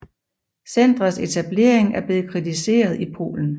Centrets etablering er blevet kritiseret i Polen